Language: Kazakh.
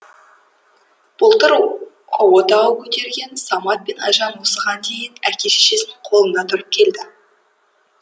былтыр отау көтерген самат пен айжан осыған дейін әке шешесінің қолында тұрып келді